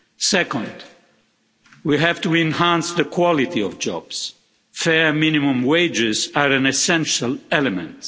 Second, we have to enhance the quality of jobs fair minimum wages are an essential element.